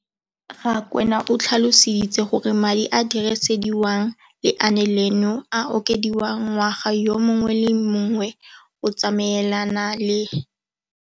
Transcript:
Rakwena o tlhalositse gore madi a a dirisediwang lenaane leno a okediwa ngwaga yo mongwe le yo mongwe go tsamaelana le.